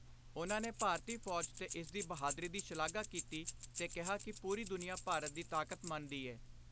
ਉਨ੍ਹਾਂ ਨੇ ਭਾਰਤੀ ਫੌਜ ਤੇ ਇਸਦੀ ਬਹਾਦਰੀ ਦੀ ਸ਼ਲਾਘਾ ਕੀਤੀ ਤੇ ਕਿਹਾ ਕਿ ਪੂਰੀ ਦੁਨੀਆ ਭਾਰਤ ਦੀ ਤਾਕਤ ਮੰਨਦੀ ਏ।